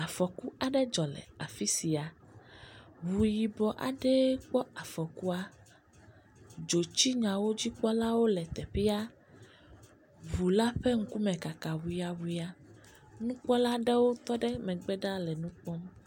Afɔku aɖe dzɔ le afi sia, ŋu yibɔ aɖee kpɔ afɔkua, dzotsinyawo dzikpɔla le teƒea, ŋu la ƒe ŋkume kaka ŋuyaŋuya, nukpɔlwo tɔ ɖe adzɔbe ɖaa.